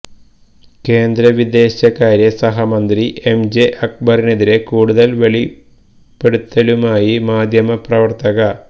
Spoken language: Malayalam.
കേന്ദ്ര വിദേശകാര്യ സഹമന്ത്രി എം ജെ അക്ബറിനെതിരെ കൂടുതല് വെളിപ്പെുത്തലുകളുമായി മാധ്യമപ്രവര്ത്തക